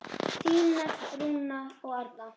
Þínar Rúna og Arna.